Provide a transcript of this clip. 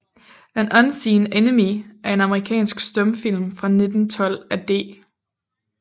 An Unseen Enemy er en amerikansk stumfilm fra 1912 af D